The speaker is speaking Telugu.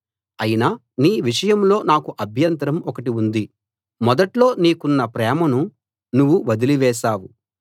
అయినా నీ విషయంలో నాకు అభ్యంతరం ఒకటి ఉంది మొదట్లో నీకున్న ప్రేమను నువ్వు వదిలి వేశావు